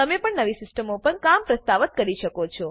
તમે પણ નવી સિસ્ટમો પર કામ પ્રસ્તાવ કરી શકો છો